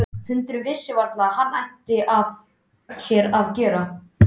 Hundurinn vissi varla hvað hann ætti af sér að gera.